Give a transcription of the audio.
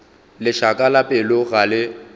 lešaka la pelo ga le